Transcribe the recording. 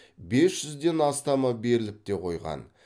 бес жүзден астамы беріліп те қойған